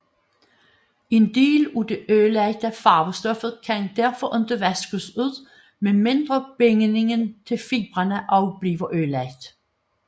En del af det ødelagte farvestof kan derfor ikke vaskes ud med mindre bindingen til fibrene også bliver ødelagt